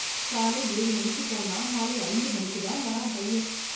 காலை ஏழு மணிக்குப் போனா மாலை ஐந்து மணிக்கு தான் வரான் பையன்.